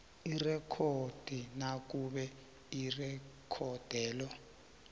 irekhodi nakube irekhodelo